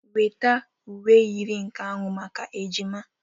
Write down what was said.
Inweta uwe yiri nke ahụ maka ejima